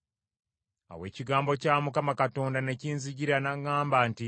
Awo ekigambo kya Mukama Katonda ne kinzijira n’aŋŋamba nti,